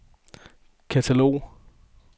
katalog